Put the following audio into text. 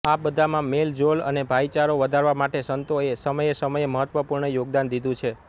આ બધામાં મેલજોલ અને ભાઈચારો વધારવા માટે સંતો એ સમયેસમયે મહત્વપૂર્ણ યોગદાન દીધું છે